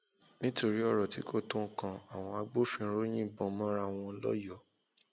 nítorí ọrọ tí kò tó nǹkan àwọn agbófinró yìnbọn mọra wọn lọyọọ